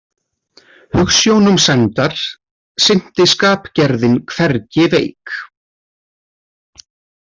Hugsjónum sæmdar sinnti skapgerðin hvergi veik.